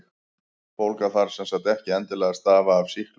Bólga þarf sem sagt ekki endilega að stafa af sýklum.